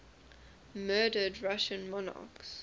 murdered russian monarchs